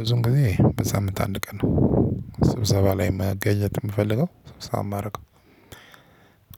ብዙም ጊዜ በሳምንት አንድ ቀን ነው። ስብሰባ ላይ መገኘት የምፈልገው ስብሰባ የማደርገው